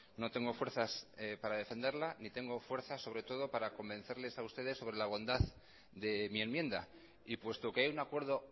no tengo fuerzas para defenderla ni tengo fuerzas sobre todo para convencerles a ustedes sobre la bondad de mi enmienda y puesto que hay un acuerdo